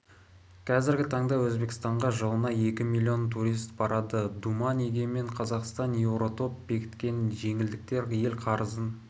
қазіргі таңда өзбекстанға жылына екі миллион турист барады думан егемен қазақстан еуротоп бекіткен жеңілдіктер ел қарызын